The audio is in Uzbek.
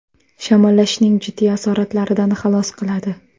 Shamollashning jiddiy asoratlaridan xalos qiladi.